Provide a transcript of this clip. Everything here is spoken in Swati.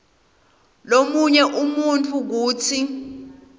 lomunye umuntfu kutsi